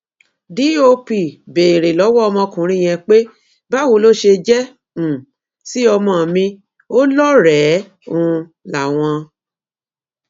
dóp béèrè lọwọ ọmọkùnrin yẹn pé báwo ló ṣe jẹ um sí ọmọ mi ò lọrẹẹ um láwọn